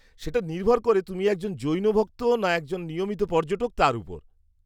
সেটা নির্ভর করে তুমি একজন জৈন ভক্ত না একজন নিয়মিত পর্যটক তার ওপর।